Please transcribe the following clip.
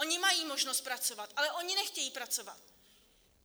Oni mají možnost pracovat, ale oni nechtějí pracovat.